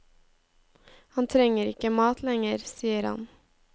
Han trenger ikke mat lenger, sier han.